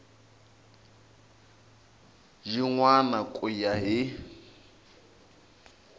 yin wana ku ya hi